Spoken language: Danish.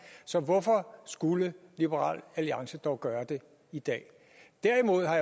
så hvorfor skulle liberal alliance dog gøre det i dag derimod har